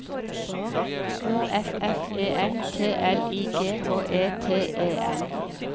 O F F E N T L I G H E T E N